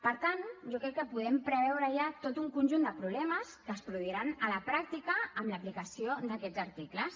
per tant jo crec que podem preveure ja tot un conjunt de problemes que es produiran a la pràctica amb l’aplicació d’aquests articles